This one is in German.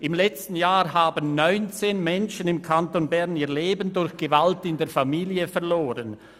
Im letzten Jahr haben im Kanton Bern 19 Menschen ihr Leben durch Gewalt in der Familie verloren.